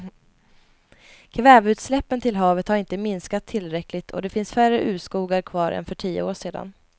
Kväveutsläppen till havet har inte minskat tillräckligt och det finns färre urskogar kvar än för tio år sedan.